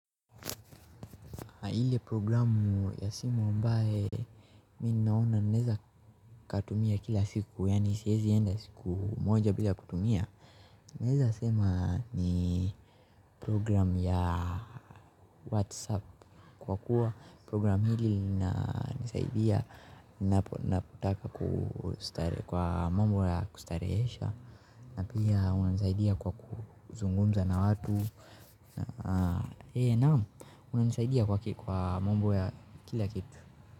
Ile programu ya simu ambaye mimi naona naweza katumia kila siku yaani siwezi enda siku moja bila kutumia naweza sema ni programu ya WhatsApp kwa kuwa programu hii inanisaidia kwa mambo ya kustarehesha na pia wananisaidia kwa kuzungumza na watu naam wananisaidia kwa mambo ya kila kitu.